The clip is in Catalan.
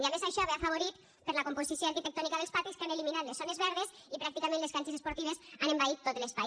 i a més això ve afavorit per la composició arquitectònica dels patis que han eliminat les zones verdes i pràcticament les pistes esportives han envaït tot l’espai